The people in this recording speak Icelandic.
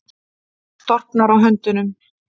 Storknar á höndunum.